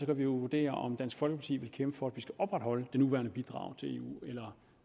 kan vi jo vurdere om dansk folkeparti vil kæmpe for at vi skal opretholde det nuværende bidrag til eu eller